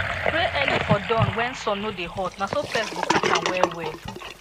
spray early for dawn make sun no dey hot na so pest go catch am well well